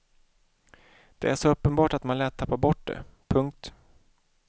Det är så uppenbart att man lätt tappar bort det. punkt